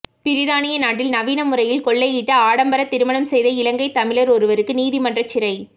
பிரித்தானிய நாட்டில் நவீன முறையில் கொள்ளையிட்டு ஆடம்பர திருமணம் செய்த இலங்கை தமிழர் ஒருவருக்கு நீதிமன்றம் சிறை